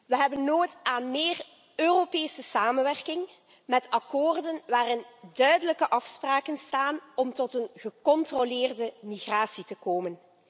We hebben nood aan meer Europese samenwerking met akkoorden waarin duidelijke afspraken staan om tot een gecontroleerde migratie te komen.